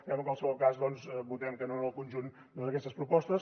però en qualsevol cas doncs votarem que no al conjunt d’aquestes propostes